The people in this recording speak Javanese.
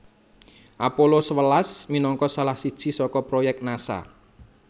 Apollo sewelas minangka salah siji saka proyèk Nasa